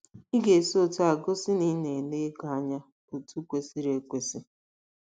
Ị ga - esi otú a gosi na ị na - ele ego anya otú kwesịrị ekwesị.